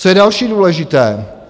Co je další důležité?